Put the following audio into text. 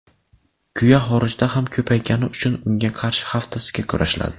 Kuya xorijda ham ko‘paygani uchun unga qarshi haftasiga kurashiladi.